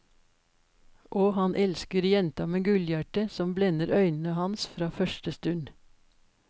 Og han elsker jenta med gullhjertet som blender øynene hans fra første stund.